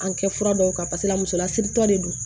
An kɛ fura dɔw kan pasekela musoya siritɔ de don